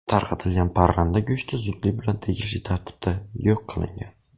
Tarqatilgan parranda go‘shti zudlik bilan tegishli tartibda yo‘q qilingan.